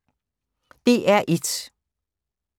DR1